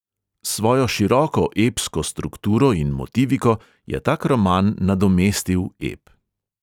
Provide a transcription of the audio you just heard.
S svojo široko epsko strukturo in motiviko je tak roman nadomestil ep.